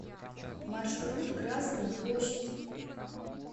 маршрут красная площадь